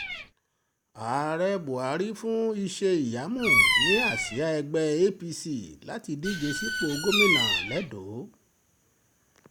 ààrẹ buhari fún iṣẹ́-ìyamú ní àsíá ẹgbẹ́ apc láti díje sípò gómìnà lẹ́dọ̀